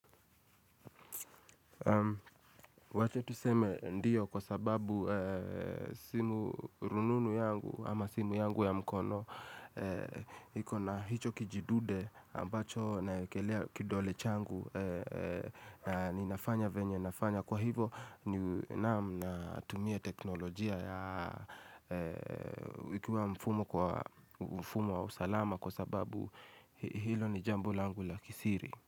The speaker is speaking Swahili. Wache tuseme ndio kwa sababu simu rununu yangu ama simu yangu ya mkono iko na hicho kijidude ambacho naEkelea kidole changu Ninafanya venye nafanya kwa hivo na tumie teknolojia Ikua mfumo kwa mfumo wa usalama kwa sababu hilo ni jambO langu la kisiri.